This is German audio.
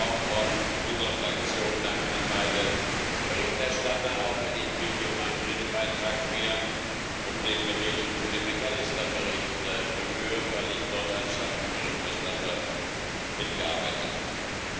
Auch von unserer Fraktion Dank an beide Berichterstatter, auch wenn ich mich in meinem Redebeitrag mehr um den Bericht McAllister bemühe, weil ich dort als Schattenberichterstatter mitgearbeitet habe.